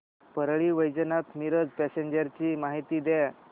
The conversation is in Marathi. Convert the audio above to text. परळी वैजनाथ मिरज पॅसेंजर ची माहिती द्या